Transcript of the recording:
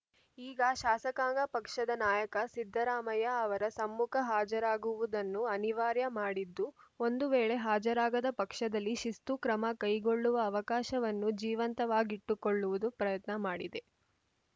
ಈಗ ಶಾಸಕಾಂಗ ಪಕ್ಷದ ನಾಯಕ ಸಿದ್ದರಾಮಯ್ಯ ಅವರ ಸಮ್ಮುಖ ಹಾಜರಾಗುವುದನ್ನು ಅನಿವಾರ್ಯ ಮಾಡಿದ್ದು ಒಂದು ವೇಳೆ ಹಾಜರಾಗದ ಪಕ್ಷದಲ್ಲಿ ಶಿಸ್ತು ಕ್ರಮ ಕೈಗೊಳ್ಳುವ ಅವಕಾಶವನ್ನು ಜೀವಂತವಾಗಿಟ್ಟುಕೊಳ್ಳುವ ಪ್ರಯತ್ನ ಮಾಡಿದೆ